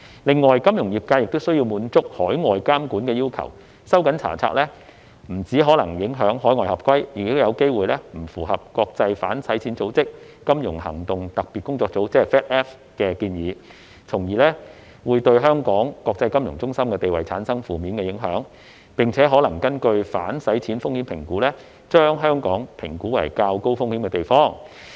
另外，金融業界亦需要滿足海外監管要求，收緊查冊不僅可能影響海外合規，亦有機會不符合國際反洗錢組織、財務行動特別組織的建議，從而會對香港國際金融中心地位產生負面影響，並可能根據反洗錢風險評估，將香港評估為較高風險的地方。